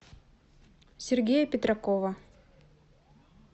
сергея петракова